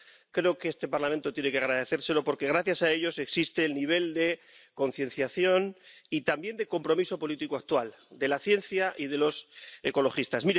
Creo que este Parlamento tiene que darles las gracias, porque gracias a ellos existe el nivel de concienciación y también de compromiso político actual de la ciencia y de los ecologistas.